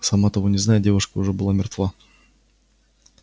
сама того не зная девушка уже была мертва